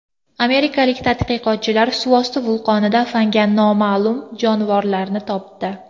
Amerikalik tadqiqotchilar suvosti vulqonida fanga noma’lum jonivorlarni topdi.